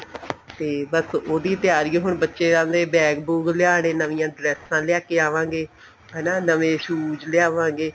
ਤੇ ਬੱਸ ਉਹਦੀ ਤਿਆਰੀ ਏ ਹੁਣ ਬੱਚਿਆਂ ਦੇ bag ਬੂਗ ਲਿਆਣੇ ਨਵੀਆਂ ਡਰੇਸਾ ਲੈ ਕੇ ਆਵਾ ਗੇ ਹਨਾ ਨਵੇ shoes ਲਿਆਵਾਂਗੇ